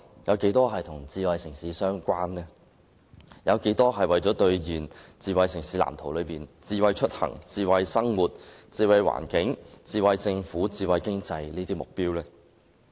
有多大程度是為了兌現《藍圖》中與"智慧出行"、"智慧生活"、"智慧環境"、"智慧政府"和智慧經濟"有關的目標呢？